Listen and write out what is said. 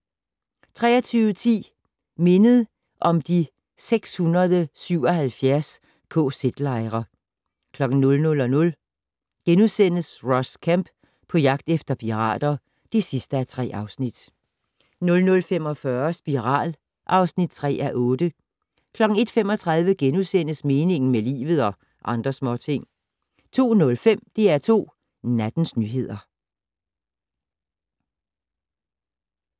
23:10: Mindet om de 677 kz-lejre 00:00: Ross Kemp på jagt efter pirater (3:3)* 00:45: Spiral (3:8) 01:35: Meningen med livet - og andre småting * 02:05: DR2 Nattens nyheder